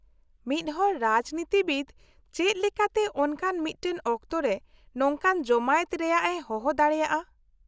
-ᱢᱤᱫᱦᱚᱲ ᱨᱟᱡᱽᱱᱤᱛᱤᱵᱤᱫ ᱪᱮᱫ ᱞᱮᱠᱟᱛᱮ ᱚᱱᱠᱟᱱ ᱢᱤᱫᱴᱟᱝ ᱚᱠᱛᱚ ᱨᱮ ᱱᱚᱝᱠᱟᱱ ᱡᱚᱢᱟᱭᱮᱛ ᱨᱮᱭᱟᱜ ᱮ ᱦᱚᱦᱚ ᱫᱟᱲᱮᱭᱟᱜᱼᱟ ?